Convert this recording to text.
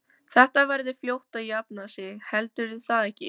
Þetta verður fljótt að jafna sig. heldurðu það ekki?